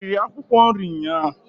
I riri akwụkwọ nri nnyaa?